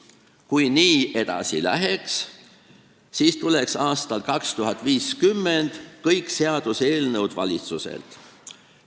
Kui nii edasi läheks, siis tuleksid aastal 2050 kõik seaduseelnõud valitsuselt.